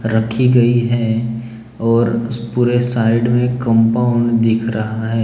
रखी गई हैं और पूरे साइड में कंपाउंड दिख रहा है।